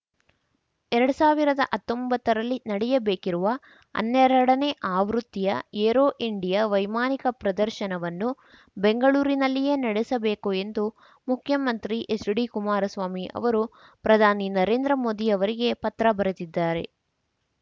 ಎರಡು ಸಾವಿರದ ಹತ್ತೊಂಬತ್ತರಲ್ಲಿ ನಡೆಯಬೇಕಿರುವ ಹನ್ನೆರಡನೇ ಆವೃತ್ತಿಯ ಏರೋ ಇಂಡಿಯಾ ವೈಮಾನಿಕ ಪ್ರದರ್ಶನವನ್ನು ಬೆಂಗಳೂರಿನಲ್ಲಿಯೇ ನಡೆಸಬೇಕು ಎಂದು ಮುಖ್ಯಮಂತ್ರಿ ಎಚ್‌ಡಿಕುಮಾರಸ್ವಾಮಿ ಅವರು ಪ್ರಧಾನಿ ನರೇಂದ್ರ ಮೋದಿ ಅವರಿಗೆ ಪತ್ರ ಬರೆದಿದ್ದಾರೆ